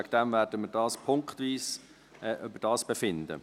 Deshalb werden wir punktweise darüber befinden.